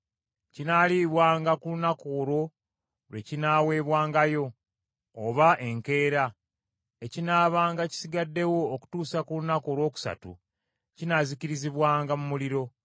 Kinaalibwanga ku lunaku olwo lwe kinaaweebwangayo oba enkeera; ekinaabanga kisigaddewo okutuusa ku lunaku olwokusatu kinaazikiribwanga mu muliro.